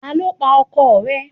Ta ló pa ọkọ rẹ̀